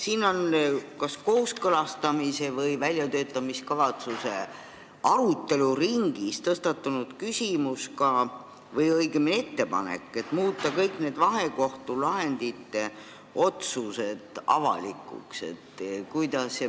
Siin on kas kooskõlastamise või väljatöötamiskavatsuse arutelu ringis tõstatunud ettepanek muuta kõik vahekohtu lahendite kohta langetatud otsused avalikuks.